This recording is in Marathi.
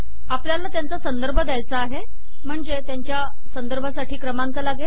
आपल्याला त्यांचा संदर्भ द्यायचा आहे म्हणजे त्यांच्या संदर्भासाठी क्रमांक लागेल